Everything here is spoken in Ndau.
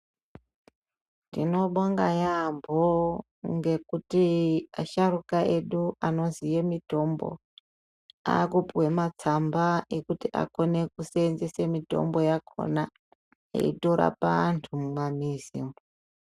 Tinobonga yaampho ngekuti asharuka edu anoziye mitombo, aakupuwe matsamba ekuti akone kuseenzese mitombo yakhona, eitorapa anthu mumamizi umwo.